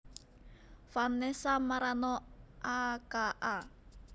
Vanessa Marano a k a